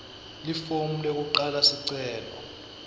lifomu lekufaka sicelo